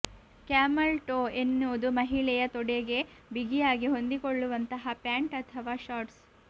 camel toe ಎನ್ನುವುದು ಮಹಿಳೆಯ ತೊಡೆಗೆ ಬಿಗಿಯಾಗಿ ಹೊಂದಿಕೊಳ್ಳುವಂತಹ ಪ್ಯಾಂಟ್ ಅಥವಾ ಶಾರ್ಟ್ಸ್